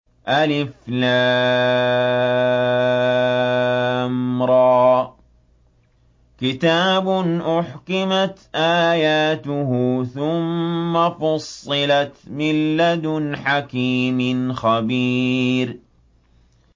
الر ۚ كِتَابٌ أُحْكِمَتْ آيَاتُهُ ثُمَّ فُصِّلَتْ مِن لَّدُنْ حَكِيمٍ خَبِيرٍ